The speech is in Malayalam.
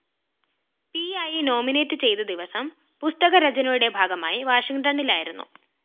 പിയായി നോമിനേറ്റ് ചെയ്ത ദിവസം പുസ്തക രചനയുടെ ഭാഗമായി വാഷിങ്ടണിലായിരുന്നു